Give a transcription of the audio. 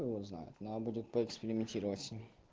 хуй его знает надо будет поэкспериментировать с ним